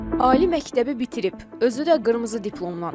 Ali məktəbi bitirib, özü də qırmızı diplomla.